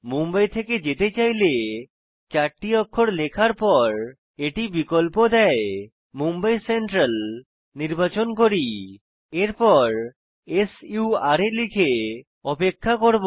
মুম্বাই থেকে যেতে চাইলে 4টি অক্ষর লেখার পর এটি বিকল্প দেয় মুম্বাই সেন্ট্রাল নির্বাচন করি এরপর সুরা লিখে অপেক্ষা করব